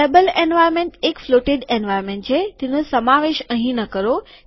table environment એક floated environment છે તેનો સમાવેશ અહીં ન કરો